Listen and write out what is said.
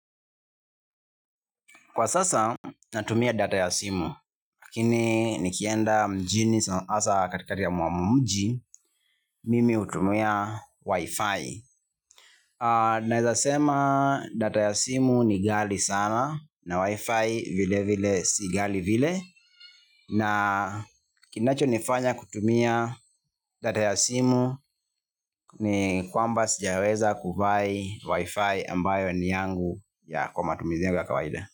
Kwa sasa natumia data ya simu, lakini nikienda mjini hasa katika ya mji, mimi hutumia Wi-Fi. Naezasema data ya simu ni ghali sana na Wi-Fi vile vile si ghali vile. Na kinacho nifanya kutumia data ya simu ni kwamba sijaweza kuvai Wi-Fi ambayo ni yangu ya kwa matumizi ya kawaida.